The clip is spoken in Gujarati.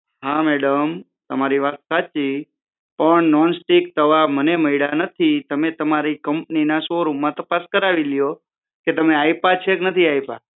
હા મેડમ તમારી વાત સાચી નોનસ્ટિક તવા મને મયડા નથી તમે તમારું કંપની ના શોરૂમ માં તપાસ કરાવી લ્યો કે તમે આયપાં છે કે નથી આયપા